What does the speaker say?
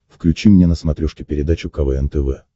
включи мне на смотрешке передачу квн тв